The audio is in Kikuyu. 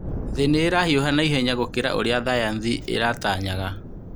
Thĩ nĩ ĩrahiũha naihenya gũkira ũrĩa thayanthi ĩratanyaga.